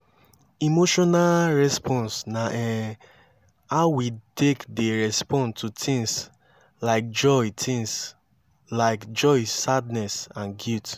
emotional response na um how we take dey respond to things like joy things like joy sadness and guilt